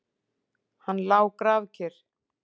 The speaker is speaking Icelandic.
Hann lá grafkyrr.